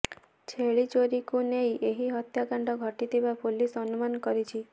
ଛେଳି ଚୋରି କୁ ନେଇ ଏହି ହତ୍ୟାକାଣ୍ଡ ଘଟିଥିବା ପୋଲିସ ଅନୁମାନ କରିଛି